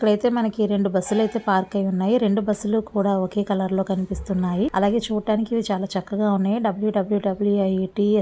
ఇప్పుడు అయితే మనకి రెండు బస్సు లైతే పార్క్ అయి ఉన్నాయి. రెండు బస్సులు కూడా ఒకే కలర్ లో కనిపిస్తున్నాయి. అలాగే చూడడానికి ఇవి చాలా చక్కగా ఉన్నాయి.